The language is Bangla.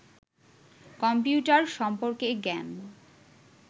কম্পিউটার সম্পর্কে জ্ঞান